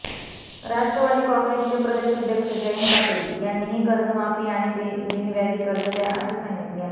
राष्ट्रवादी काँग्रेसचे प्रदेश अध्यक्ष जयंत पाटील यांनीही कर्जमाफी आणि बिनव्याजी कर्ज द्या असे सांगितले आहे